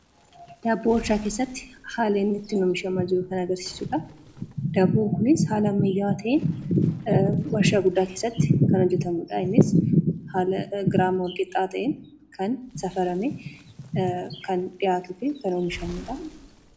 Daabboon warshaa keessatti haala inni ittiin oomishamaa jiru kan agarsiisidha. Daabboon kunis haala ammayyaawaa ta'een waarshaa guddaa keessatti kan hojjetamudha. Innis haala giraama wal qixaa ta'een kan safaramee kan dhihaatuu fi kan oomishamudha.